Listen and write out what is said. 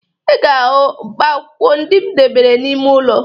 Ị ga-ahụ mkpaakwụkwọ ndị m debere n'ime ụlọ